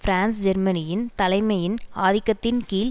பிரான்ஸ்ஜேர்மனியின் தலைமையின் ஆதிக்கத்தின் கீழ்